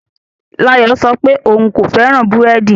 Layo sọ pé òun kò fẹ́ràn búrẹ́dì